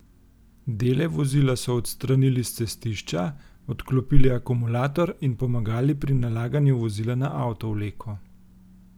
Dele vozila so odstranili s cestišča, odklopili akumulator in pomagali pri nalaganju vozila na avtovleko.